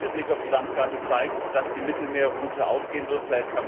Der zweite Blick auf die Landkarte zeigt, dass die Mittelmeerroute aufgehen wird.